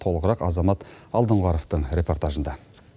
толығырақ азамат алдоңғаровтың репортажында